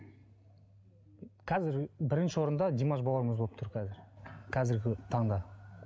қазір бірінші орында димаш бауырымыз болып тұр қазір қазіргі таңда